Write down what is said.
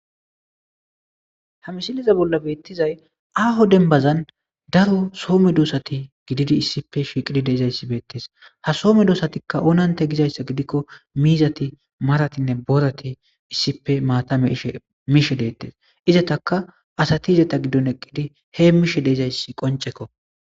Ha misilezan bolla betizays aho denibazan daro soo medosati issipe gididi dizayis betes ha soo medosati onanite gizayisa gidiko mizati maratinee borati issipe mata mishe de'etes izataka asati eta gidon eqidi hemishe dizayis qoniceko